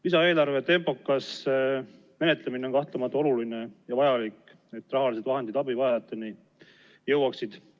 Lisaeelarve tempokas menetlemine on kahtlemata oluline ja vajalik, et rahalised vahendid abivajajateni jõuaksid.